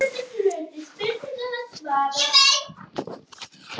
Sólarorkan veldur líka eilífri hringrás vatns og lofts á jörðinni.